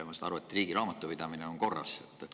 Ma saan aru, et riigi raamatupidamine on korras.